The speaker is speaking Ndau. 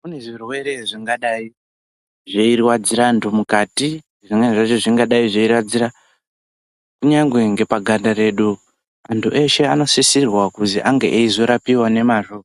Kune zvirwere zvingadai zveirwadzira antu mukati zvimweni zvacho zvingadai zveirwadzira kunyangwe ngepaganda redu, Antu eshe anosisirwa kuzi ange eizorapiwa ngemazvo